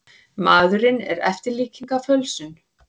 Maðurinn er eftirlíking af fölsun.